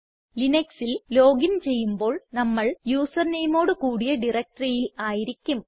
ലിനക്സിൽ login ചെയ്യുമ്പോൾ നമ്മൾ user nameഓട് കൂടിയ directoryയിൽ ആയിരിക്കും